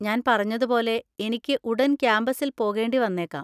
ഞാൻ പറഞ്ഞതുപോലെ, എനിക്ക് ഉടൻ ക്യാമ്പസിൽ പോകേണ്ടി വന്നേക്കാം.